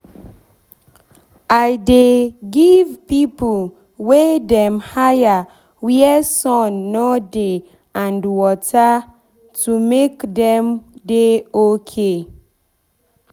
i dey give pipo wey dem hire where sand no dey and water to make dem dey okay